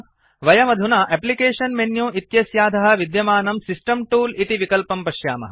वयमधुना application menu इत्यस्याधः विद्यमानं सिस्टम् तूल इति विकल्पं पश्यामः